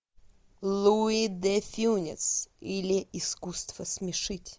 луи де фюнес или искусство смешить